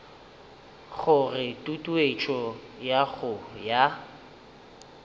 gore tutuetšo ya go ya